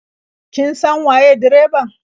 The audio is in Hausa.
Kin san waye direban?